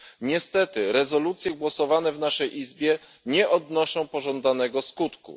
Niestety, rezolucje głosowane w naszej izbie nie odnoszą pożądanego skutku.